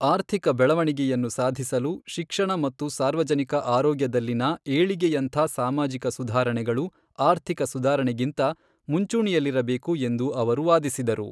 ಆರ್ಥಿಕ ಬೆಳವಣಿಗೆಯನ್ನು ಸಾಧಿಸಲು, ಶಿಕ್ಷಣ ಮತ್ತು ಸಾರ್ವಜನಿಕ ಆರೋಗ್ಯದಲ್ಲಿನ ಏಳಿಗೆಯಂಥ ಸಾಮಾಜಿಕ ಸುಧಾರಣೆಗಳು, ಆರ್ಥಿಕ ಸುಧಾರಣೆಗಿಂತ ಮುಂಚೂಣಿಯಲ್ಲಿರಬೇಕು ಎಂದು ಅವರು ವಾದಿಸಿದರು.